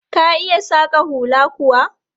Ka iya saƙa hula kuwa?